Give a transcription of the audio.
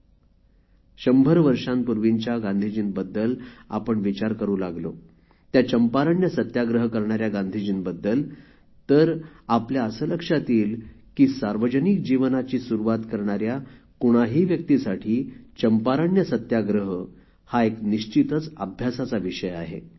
पण शंभर वर्षांपूर्वीच्या गांधीजींबद्दल आपण विचार करू लागलो त्या चंपारण्य सत्याग्रह करणाऱ्या गांधीजींबद्दल तर आपल्या असे लक्षात येईल की सार्वजनिक जीवनाची सुरुवात करणाऱ्या कुणाही व्यक्तीसाठी चंपारण्य सत्याग्रह हा एक निश्चितच अभ्यासाचा विषय आहे